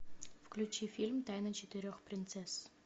включи фильм тайна четырех принцесс